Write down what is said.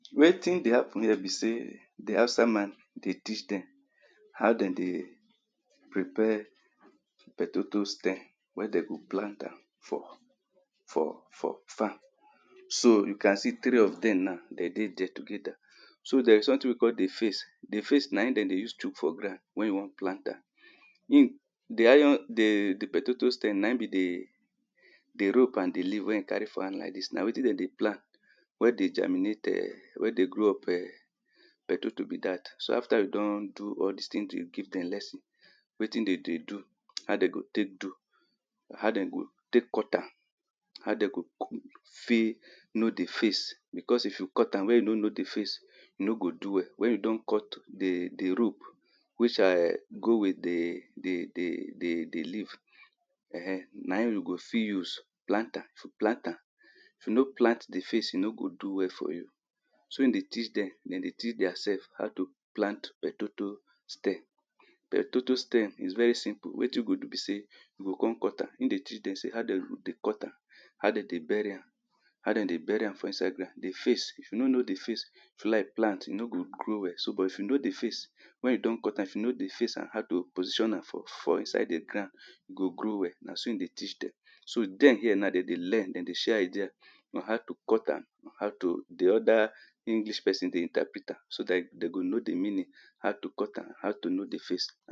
Wetin dey hapun here be sey di Hausa man dey teach dem how den dey prepare pohtato stem wey dem go plant am for for for farm so, you can see three of dem now dem dey dier together so there is sometin we call di face di face naim den dey use chook for ground when you wan plant am. di iron di di potato stem naim be di di rope and di leaf wey e carry for hand like dis na wetin dem dey plant wey dey germinate um wey dey grow up um potato be dat so afta e don do all di things e dey give dem lesson wetin dem dey do, how dey go take do how den go take cut am, how dey go fit know di face because if you cut am when you no know di face e nor go do well when you don cut the the rope which, um go with di di di leaf um, naim you go fit use plant am plant am If you no plant the face, e no go do well for you na so e dey teach dem, dem dey teach diaself how to plan pohtato stem pohtato stem is very simple wetin you go do be sey you go come cut am, hin dey teach dem sey how dem dey cut am how den dey bury am, how dem dey bury am for inside ground, di face, if you no know di face, if you like plant, e nor go grow well so, but if you know di face wen you don cut am if you know di face and how to position am, for for inside di ground e go grow well na so e dey teach dem so dem here now dem dey learn, den dey share idea on how to cut am, on how to di oda English person dey interpret am so that den go know di meaning, how to cut am, how to know di face